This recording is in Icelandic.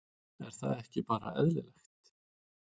Er það ekki bara eðlilegt?